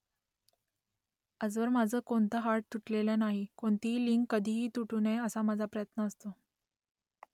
आजवर माझं कोणतं हाड तुटलेलं नाही कोणतीही लिंक कधीही तुटू नये असा माझा प्रयत्न असतो